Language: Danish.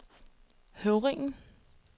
Høvringen